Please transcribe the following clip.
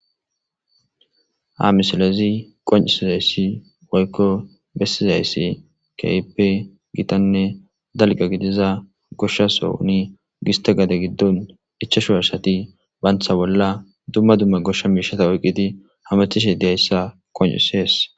ha misilezi qoncisizayssi woykko bessizayssi keype gitanne dalga gidiza goshshaso ni gista gade giddon ichashu harsati baantha bolla dumma dumma goshsha miishata oyqqidi hamachishe deayssa qoncisees